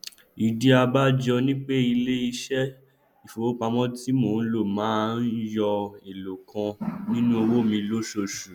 ìdí abájọ ni pé iléiṣẹ ìfowópamọ ti mo ń lò máa ń yọ eélòó kan nínú owó mi lóṣooṣù